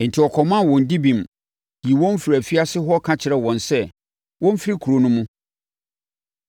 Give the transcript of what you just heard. enti wɔkɔmaa wɔn dibem, yii wɔn firii afiase hɔ ka kyerɛɛ wɔn sɛ wɔmfiri kuro no mu.